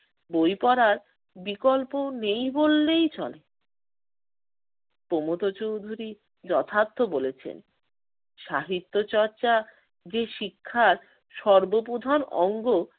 বই পড়ার বিকল্প নেই বললেই চলে। প্রমথ চৌধুরী যথার্থ বলেছেন, সাহিত্যচর্চা যে শিক্ষার সর্ব প্রধান অঙ্গ